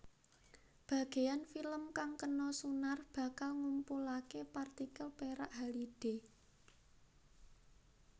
Bageyan film kang kena sunar bakal ngumpulake partikel perak halide